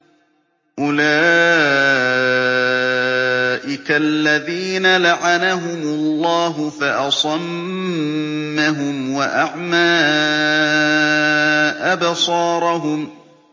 أُولَٰئِكَ الَّذِينَ لَعَنَهُمُ اللَّهُ فَأَصَمَّهُمْ وَأَعْمَىٰ أَبْصَارَهُمْ